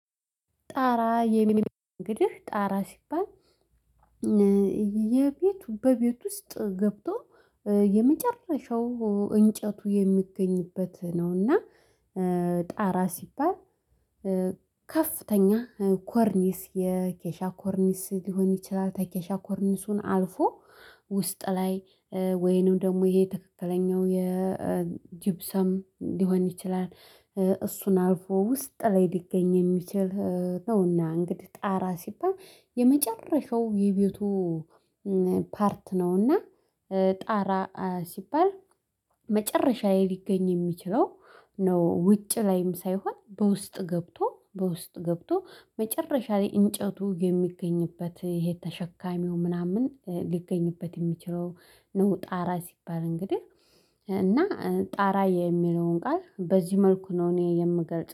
ጣራ እንግዲህ ጣራ ሲባል የቤቱ በቤት ውስጥ ገብቶ የመጨረሻው እንጨቱ የሚገኝበት ነውና። ጣራ ሲባል ከፍተኛ ኮርኒስ የኬሻ ኮርኒስ ሊሆን ይችላል ተኬሻ ኮርንሱን አልፎ ውስጥ ላይ ወይንም ደግሞ ይሄ ትክክለኛው የጅብሰም ሊሆን ይችላል። እሱን አልፎ ውስጥ ላይ ሊገኝ የሚችል ነውና። እንግዲህ ጣራ ሲባል የመጨረሻው የቤቱ ፓርት ነውና። ጣራ ሲባል መጨረሻ ላይ ሊገኝ የሚችለው ነው። ውጭ ላይም ሳይሆን በውስጥ ገብቶ በውስጥ ገብቶ መጨረሻ ላይ እንጨቱ የሚገኝበት ይሄ ተሸካሚው ምናምን ሊገኝበት የሚችለው ነው። ጣራ ሲባል እንግዲህ እና ጣራ የሚለውን ቃል በዚህ መልኩ ነው እኔ የምገልጸው